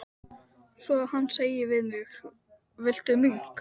Svo að hann segir við mig: Viltu mink?